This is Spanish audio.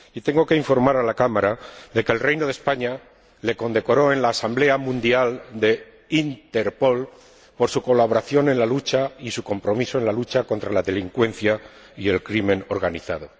Y tengo que informar a la Cámara de que el Reino de España le condecoró en la Asamblea Mundial de Interpol por su colaboración y por su compromiso con la lucha contra la delincuencia organizada.